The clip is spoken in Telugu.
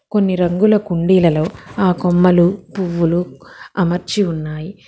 కొన్ని రంగుల కుండీలలో ఆ కొమ్మలు పువ్వులు అమర్చి ఉన్నాయి.